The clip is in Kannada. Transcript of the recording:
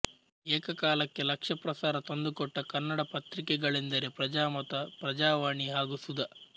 ಏಕಕಾಲಕ್ಕೆ ಲಕ್ಷ ಪ್ರಸಾರ ತಂದುಕೊಟ್ಟ ಕನ್ನಡ ಪತ್ರಿಕೆಗಳೆಂದರೆ ಪ್ರಜಾಮತ ಪ್ರಜಾವಾಣಿ ಹಾಗೂ ಸುಧಾ